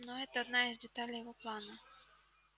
но это одна из деталей его плана